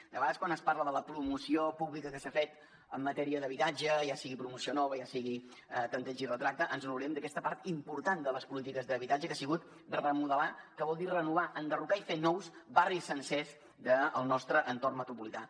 de vegades quan es parla de la promoció pública que s’ha fet en matèria d’habitatge ja sigui promoció nova ja sigui tanteig i retracte ens honorem d’aquesta part important de les polítiques d’habitatge que ha sigut remodelar que vol dir renovar enderrocar i fer nous barris sencers del nostre entorn metropolità